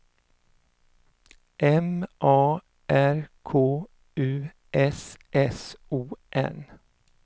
M A R K U S S O N